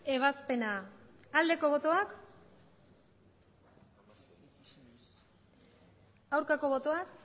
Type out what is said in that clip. ebazpena aldeko botoak aurkako botoak